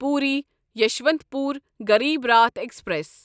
Puri Yesvantpur Garib Rath express